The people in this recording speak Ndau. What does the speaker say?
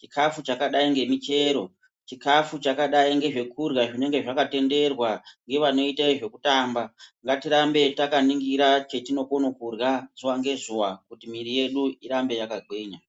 chikafu chakadai nemichero chikafu chakadai ngezvekurya zvinenge zvakatenderwa ngevanoita zvekutamba natirambe takaningira chatinogona kudya zuva nezuva kuti mwiri yedu irambe yakagwinya .